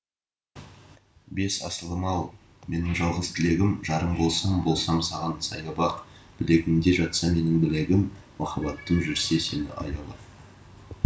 бес асылым ау менің жалғыз тілегім жарың болсам болсам саған сая бақ білегіңде жатса менің білегім махаббаттым жүрсе сені аялап